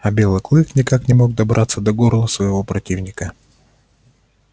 а белый клык никак не мог добраться до горла своего противника